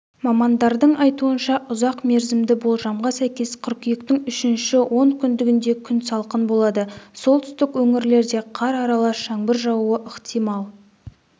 мамандардың айтуынша ұзақ мерзімді болжамға сәйкес қыркүйектің үшінші онкүндігінде күн салқын болады солтүстік өңірлерде қар аралас жаңбыр жаууы ықтимал